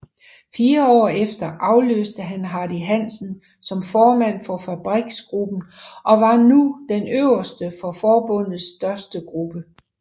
Fire år efter afløste han Hardy Hansen som formand for fabriksgruppen og var nu den øverste for forbundets største gruppe